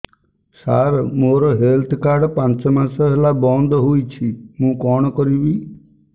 ସାର ମୋର health card ପାଞ୍ଚ ମାସ ହେଲା ବଂଦ ହୋଇଛି ମୁଁ କଣ କରିବି